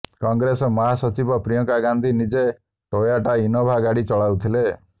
କଂଗ୍ରେସ ମହାସଚିବ ପ୍ରିୟଙ୍କା ଗାନ୍ଧି ନିଜେ Toyota Innova ଗାଡ଼ି ଚଲାଉଥିଲେ